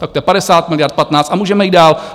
Tak to je 50 miliard, 15 a můžeme jít dál.